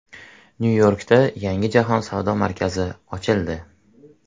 Nyu-Yorkda yangi Jahon savdo markazi ochildi.